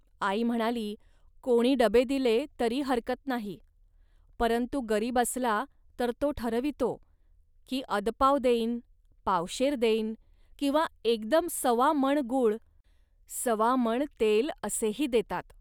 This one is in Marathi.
.आई म्हणाली, "कोणी डबे दिले, तरी हरकत नाही. परंतु गरीब असला, तर तो ठरवितो, की अदपाव देईन, पावशेर देईन किंवा एकदम सवा मण गूळ, सवा मण तेल असेही देतात